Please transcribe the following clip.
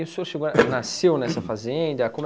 E o senhor chegou nasceu nessa fazenda?